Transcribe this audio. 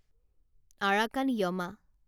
Arakan Yoma